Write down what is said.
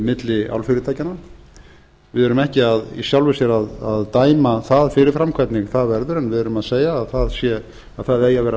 milli álfyrirtækjanna við erum ekki í sjálfu sér að dæma það fyrirfram hvernig það verður en við erum að segja að það eigi að